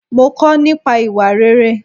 Mo kò nípa ìwà rere.